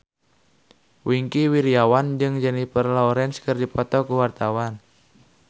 Wingky Wiryawan jeung Jennifer Lawrence keur dipoto ku wartawan